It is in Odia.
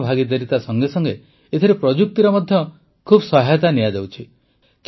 ଜନଭାଗିଦାରିତା ସଙ୍ଗେସଙ୍ଗେ ଏଥିରେ ପ୍ରଯୁକ୍ତିର ମଧ୍ୟ ବହୁତ ସହାୟତା ନିଆଯାଉଛି